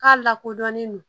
K'a lakodɔnnen don